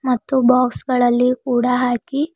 ಮತ್ತು ಬಾಕ್ಸ್ ಗಳಲ್ಲಿ ಕೂಡ ಹಾಕಿ--